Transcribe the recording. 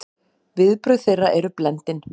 Viðbrögð þeirra eru blendin.